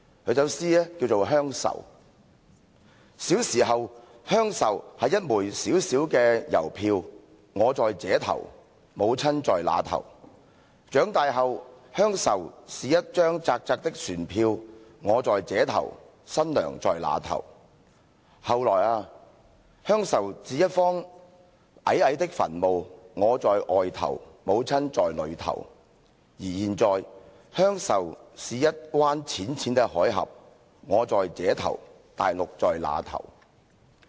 這首詩是"鄉愁"："小時候，鄉愁是一枚小小的郵票，我在這頭，母親在那頭；長大後，鄉愁是一張窄窄的船票，我在這頭，新娘在那頭；後來啊，鄉愁是一方矮矮的墳墓，我在外頭，母親在裏頭；而現在，鄉愁是一灣淺淺的海峽，我在這頭，大陸在那頭。